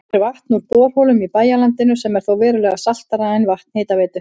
Fær vatn úr borholum í bæjarlandinu sem er þó verulega saltara en vatn Hitaveitu